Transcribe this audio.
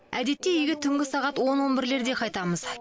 әдетте үйге түнгі сағат он он бірлерде қайтамыз